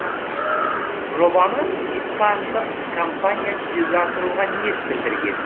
жобаны испандық компания жүзеге асыруға ниет білдірген